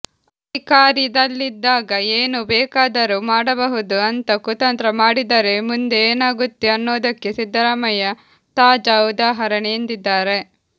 ಅಧಿಕಾರಿದಲ್ಲಿದ್ದಾಗ ಏನು ಬೇಕಾದರು ಮಾಡಬಹುದು ಅಂತ ಕುತಂತ್ರ ಮಾಡಿದರೆ ಮುಂದೆ ಏನಾಗುತ್ತೆ ಅನ್ನೋದಕ್ಕೆ ಸಿದ್ದರಾಮಯ್ಯ ತಾಜಾ ಉದಾಹರಣೆ ಎಂದಿದ್ದಾರೆ